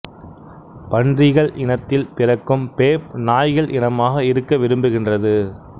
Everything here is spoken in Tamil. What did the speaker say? பன்றிகள் இனத்தில் பிறக்கும் பேப் நாய்கள் இனமாக இருக்க விரும்புகின்றது